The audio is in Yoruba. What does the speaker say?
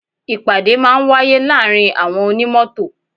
Ìpàdé máa ń wáyé láàárín àwọn onímọ́tò.